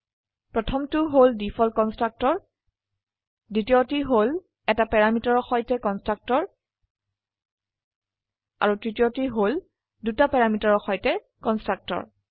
প্ৰথমটি হল default constructor দ্বিতীয়টি হল এটা প্যাৰামিটাৰৰ সৈতে কন্সট্ৰকটৰ আৰু তৃতীয়টি হল দুটি প্যাৰামিটাৰৰ সৈতে কন্সট্ৰকটৰ